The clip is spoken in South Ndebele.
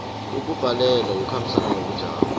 ukubhalelwa kukhambisana nobujamo